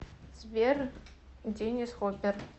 сбер деннис хоппер